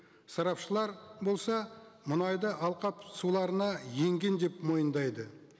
сарапшылар болса мұнайды алқап суларына енген деп мойындайды